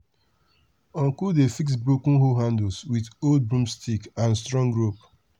uncle dey fix broken hoe handles with old broomsticks and strong rope.